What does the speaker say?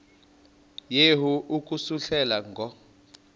yehu ukususela ngo